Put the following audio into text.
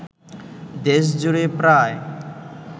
দেশ জুড়ে প্রায়